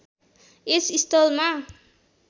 यस स्थलमा